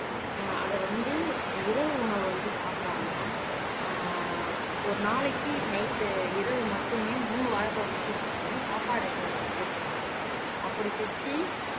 ஆஹ் அத வந்து இரவு உணவு வந்து சாப்பிடாம ஆஹ் ஒரு நாளைக்கு நைட் இரவு மட்டுமே மூணு வாழைப்பழம் மட்டும் சாப்பிடணும் சாப்பாடு எதுவும் இதுல சேர்த்துக்கக் கூடாது. அப்படி செஞ்சு